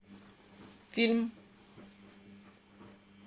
фильм